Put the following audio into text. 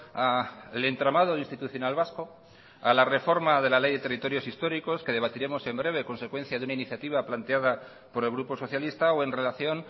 al entramado institucional vasco a la reforma de la ley de territorios históricos que debatiremos en breve a consecuencia de una iniciativa planteada por el grupo socialista o en relación